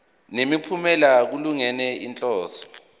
nemiphumela kulungele inhloso